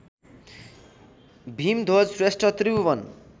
Bhimdhwaj Shrestha Tribhuvan